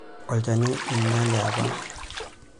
Olchani oinyale apa.